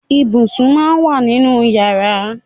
Ibùsùn máa ń wà nínú yàrá.